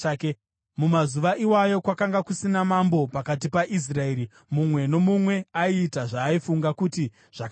Mumazuva iwayo kwakanga kusina mambo pakati paIsraeri; mumwe nomumwe aiita zvaaifunga kuti zvakanaka.